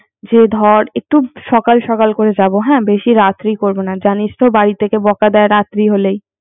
যেই দর একটু সকাল সকাল করে যাবো হ্যা বেশি রাত্রি করব না জানিসতো বাড়ি থেকে বকা দেয় রাত্রি হলেই।